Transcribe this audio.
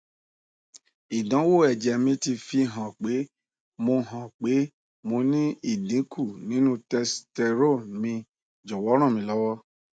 idanwo eje mi ti fi han pe mo han pe mo ni idinku ninu testosterone mi jowo ranmilowo